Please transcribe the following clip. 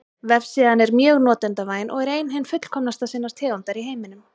Vefsíðan er mjög notendavæn og er ein hin fullkomnasta sinnar tegundar í heiminum.